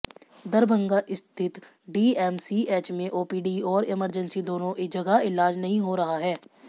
दरभंगा स्थित डीएमसीएच में ओपीडी और इमरजेंसी दोनों जगह इलाज नहीं हो रहा है